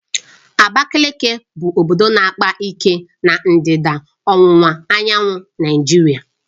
Abakaliki bụ obodo na-akpa ike na ndịda ọwụwa anyanwụ Naịjirịa